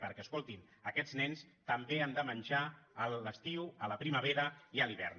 perquè escoltin aquests nens també han de menjar a l’estiu a la primavera i a l’hivern